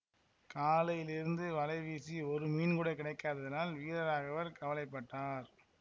காலையிலிருந்து வலை வீசி ஒரு மீன் கூட கிடைக்காததால் வீரராகவர் கவலை பட்டார்